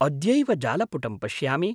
अद्यैव जालपुटं पश्यामि।